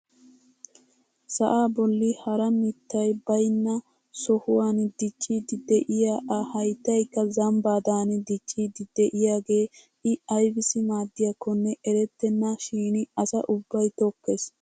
Sa'aa bolli hara mittay baynna sohuwaan dicciidi de'iyaa a hayttaykka zambbaadan dicciidi de'iyoogee i aybassi maaddiyaakonne eretenna shin asa ubbay tokkees!